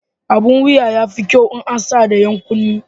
Abun wuya yafi kyau in an sa da 'yan kunne.